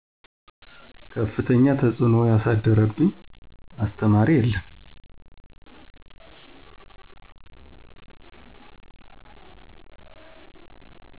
ከፍተኛ ተፅዕኖ ያሳደረብኝ አስተማሪ የለም።